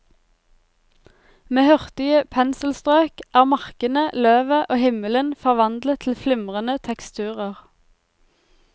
Med hurtige penselstrøk er markene, løvet og himmelen forvandlet til flimrende teksturer.